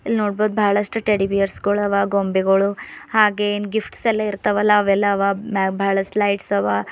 ಇಲ್ ನೋಡ್ಬೋದ್ ಬಹಳಷ್ಟು ಟೆಡಿ ಬಿಯರ್ಸ್ ಗಳು ಅವ ಗೊಂಬೆಗಳು ಹಾಗೆ ಏನ್ ಗಿಫ್ಟ್ ಎಲ್ಲ ಇರ್ತವಲ್ಲ ಅವೆಲ್ಲ ಅವ ಮ್ಯಾಕ್ ಬಾಳಷ್ಟು ಲೈಟ್ಸ್ ಅವ.